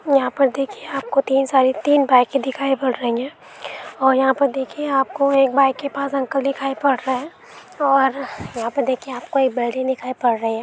यहा पर देखिए तीन बाइके दिखाई पड़ रही है और यहा पर देखिए आप को एक बाइ के पास अंकल दिखाई पड रहे है और यहा पर देखिए एक बीटे निकाये पड रहा है।